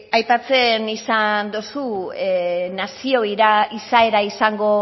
aipatzen izan dozu nazio izaera izango